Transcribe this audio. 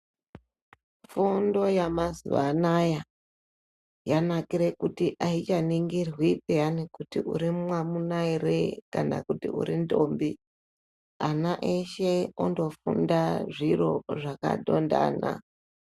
Fundo yamazuva anaya yanakira kuti auchaningirwi peyana kuti uri mwamuna ere kna kuti uri ndombi ana eshe ondofunda zviro zvakandondana.